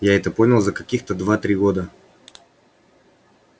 я это понял за каких-то два-три года